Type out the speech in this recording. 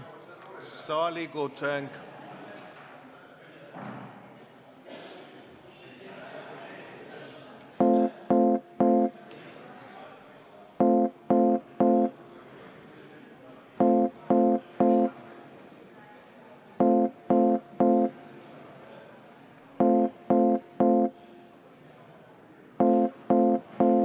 Annan saalikutsungi.